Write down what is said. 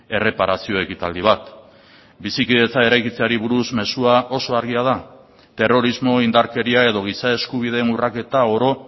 erreparazio ekitaldi bat bizikidetza eraikitzeari buruz mezua oso argia da terrorismo indarkeria edo giza eskubideen urraketa oro